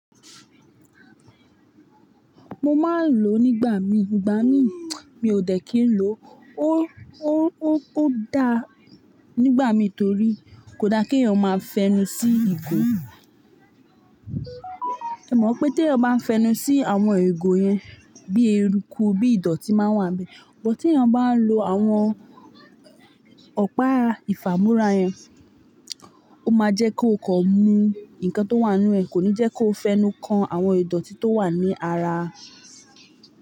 Mo máa ń lò ó nígbà mí, ìgbà mí mi ò dẹ̀ kí n lò ó dá nígbà mí torí kò da kí ènìyàn máa fẹnu sí ìgò. O mọ pé tí èèyàn bá fẹnu sí àwọn igò yẹn, bí eruku, bí ìdọ̀tí máa n wà n bẹ̀. But tí èèyàn bá ń lo àwọn ọ̀pá ìfàmúrá yẹn, ó máa jẹ́ kó kọ̀ mú nǹkan tó wà n nú ẹ̀, kò ní jẹ́ kó fẹnu kan àwọn ìdọ̀tí tó wà ní ara.